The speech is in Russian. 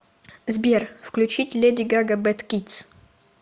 сбер включить леди гага бэд кидс